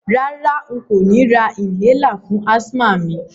Rárá, n kò ni ra inhaler fún asthma mi